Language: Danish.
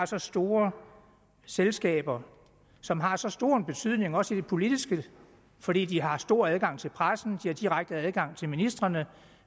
så store selskaber som har så stor en betydning også i det politiske fordi de har stor adgang til pressen har direkte adgang til ministrene